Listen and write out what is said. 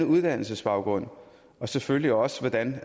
uddannelsesbaggrund og selvfølgelig også hvordan